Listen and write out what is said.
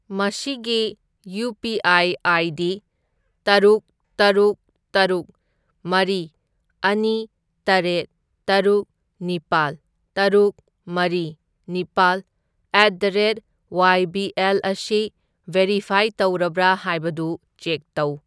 ꯃꯁꯤꯒꯤ UPI. ID. ꯇꯔꯨꯛ ꯇꯔꯨꯛ ꯇꯔꯨꯛ ꯃꯔꯤ ꯑꯅꯤ ꯇꯔꯦꯠ ꯇꯔꯨꯛ ꯅꯤꯄꯥꯜ ꯇꯔꯨꯛ ꯃꯔꯤ ꯅꯤꯄꯥꯜ at the rate Y B L ꯑꯁꯤ ꯚꯦꯔꯤꯐꯥꯏ ꯇꯧꯔꯕ꯭ꯔꯥ ꯍꯥꯏꯕꯗꯨ ꯆꯦꯛ ꯇꯧ꯫